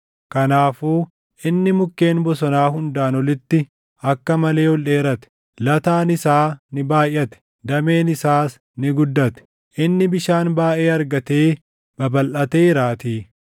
Kanaafuu inni mukkeen bosonaa hundaan olitti akka malee ol dheerate; lataan isaa ni baayʼate; dameen isaas ni guddate; inni bishaan baayʼee argatee babalʼateeraatii.